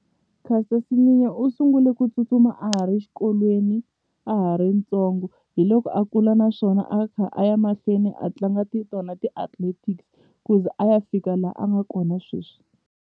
Caster Semenya u sungule ku tsutsuma a ha ri xikolweni a ha ri ntsongo hi loko a kula naswona a kha a ya mahlweni a tlanga ti tona ti-athletics ku ze a ya fika la a nga kona sweswi.